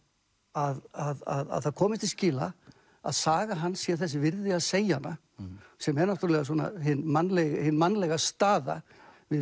að það komist til skila að saga hans sé þess virði að segja hana sem er náttúrulega hin mannlega hin mannlega staða við